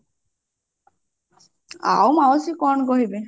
ଆଉ ମାଉସୀ କଣ କହିବେ